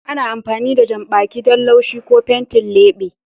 Ana amfani da janɓaki don laushi ko fenti leɓe.